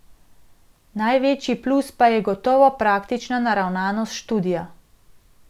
Največji plus pa je gotovo praktična naravnanost študija.